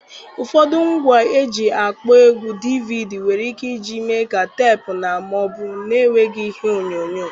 Ụfọdụ ngwa eji akpọ egwú DVD nwere ike iji mee ka teepu na ma ọ bụ na-enweghị ihe onyonyo.